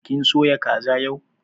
Kin soya kaza yau?